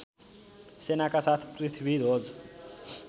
सेनाका साथ पृथ्वीध्वज